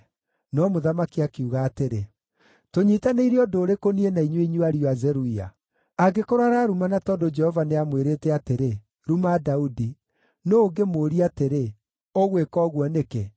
No mũthamaki akiuga atĩrĩ, “Tũnyiitanĩire ũndũ ũrĩkũ niĩ na inyuĩ, inyuĩ ariũ a Zeruia? Angĩkorwo ararumana tondũ Jehova nĩamwĩrĩte atĩrĩ, ‘Ruma Daudi,’ nũũ ũngĩmũũria atĩrĩ, ‘Ũgwĩka ũguo nĩkĩ?’ ”